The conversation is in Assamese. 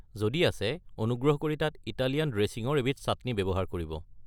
যদি আছে, অনুগ্ৰহ কৰি তাত ইটালিয়ান ড্ৰেছিঙৰ এবিধ চাটনি ব্যৱহাৰ কৰিব।